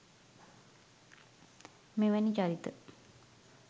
මෙවැනි චරිත